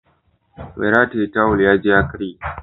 Mai rataye tawul ya ji ya karye